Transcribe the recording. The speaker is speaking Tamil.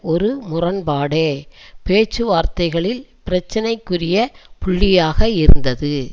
ஒரு முரண்பாடே பேச்சுவார்த்தைகளில் பிரச்சனைக்குரிய புள்ளியாக இருந்தது